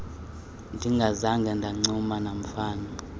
ndingazanga ndancuma namfana